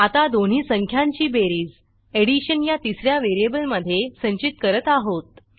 आता दोन्ही संख्यांची बेरीज एडिशन या तिस या व्हेरिएबलमधे संचित करत आहोत